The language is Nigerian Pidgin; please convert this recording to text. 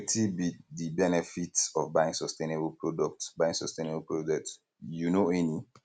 wetin be di benefit of buying sustainable products buying sustainable products you know any